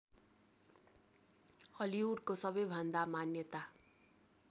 हलिउडको सबैभन्दा मान्यता